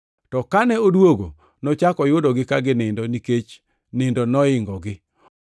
To kane odwogo, nochako oyudogi ka ginindo, nikech nindo noingogi.